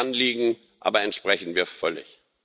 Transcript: Dem Anliegen aber entsprechen wir völlig.